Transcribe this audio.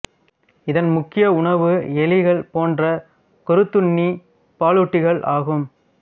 இதன் முக்கிய உணவு எலிகள் போன்ற கொறித்துண்ணிப் பாலூட்டிகள் ஆகும்